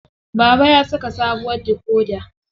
Baba ya saka sabuwar dikoda.